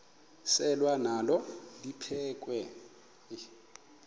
selwa nalo liphekhwe